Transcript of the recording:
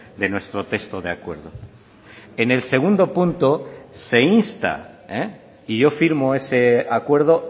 de nuestro texto de acuerdo en el segundo punto se insta y yo firmo ese acuerdo